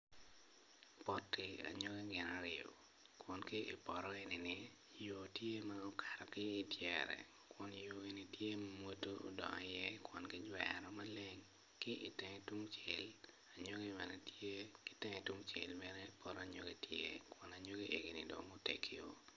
Poti anyogi gin aryo kun ki i poto enini yo tye ma okato ki idyere kun yo-ni tye modo odongo i iye kun ki jwero maleng ki itenge tungcel anyogi bene tye ki itenge tungcel anyogi bene tye kun anyogi eni dong gutegio